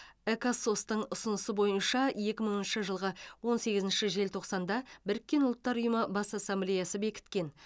экосос тың ұсынысы бойынша екі мыңыншы жылғы он сегізінші желтоқсанда біріккен ұлттар ұйымы бас ассамблеясы бекіткен